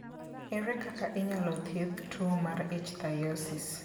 Ere kaka inyalo thiedh tuwo mar ichthyosis?